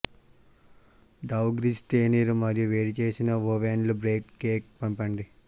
డౌ grease తేనీరు మరియు వేడిచేసిన ఓవెన్లో బేక్ కేక్ పంపండి